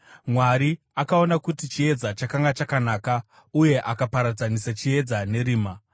Mwari akaona kuti chiedza chakanga chakanaka, uye akaparadzanisa chiedza nerima.